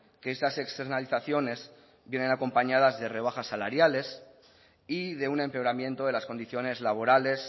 que estas externalizaciones vienen acompañadas de rebajas salariales y de un empeoramiento de las condiciones laborales